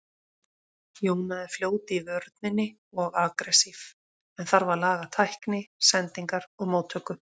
Jóna er fljót í vörninni og agressív en þarf að laga tækni, sendingar og móttöku.